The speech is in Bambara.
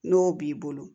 N'o b'i bolo